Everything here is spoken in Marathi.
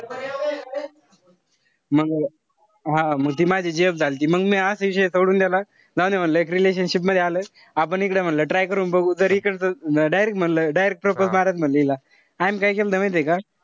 मंग हा मग ती माझी gf झालती. मंग म्या असा विषय सोडून देला. जाऊ दे म्हणलं एक relationship मध्ये आलोय. आपण इकडे म्हणलं try करून बघू. तर इकडचं म्हणलं direct म्हणलं direct propose मारायचं म्हणलं इला. आम्ही काय केलत माहितीये का,